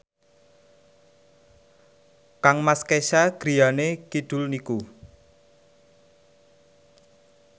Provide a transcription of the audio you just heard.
kangmas Kesha griyane kidul niku